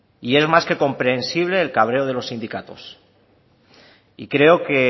y es más que comprensible el cabreo de los sindicatos y creo que